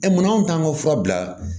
mun kan ka fura bila